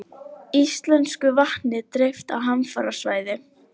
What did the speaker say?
Tyrfingur, hækkaðu í hátalaranum.